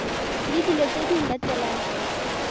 le dilo tse di latelang